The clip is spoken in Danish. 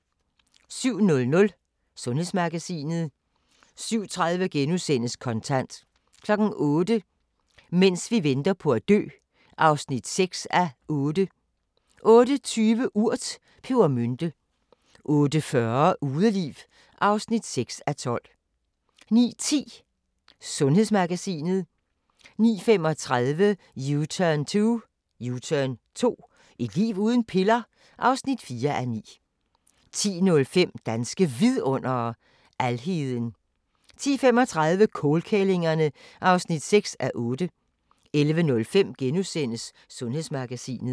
07:00: Sundhedsmagasinet 07:30: Kontant * 08:00: Mens vi venter på at dø (6:8) 08:20: Urt: Pebermynte 08:40: Udeliv (6:12) 09:10: Sundhedsmagasinet 09:35: U-turn 2 – Et liv uden piller? (4:9) 10:05: Danske Vidundere: Alheden 10:35: Kålkællingerne (6:8) 11:05: Sundhedsmagasinet *